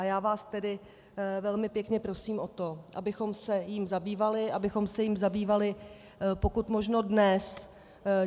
A já vás tedy velmi pěkně prosím o to, abychom se jím zabývali, abychom se jím zabývali pokud možno dnes.